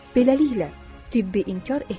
Beləliklə, tibbi inkar etməyin.